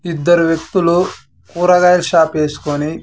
ఇద్దరు వ్యక్తులు కూరగాయల షాప్ వేస్కొని.